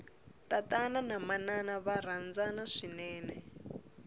tatana na manana va rhandzana swinene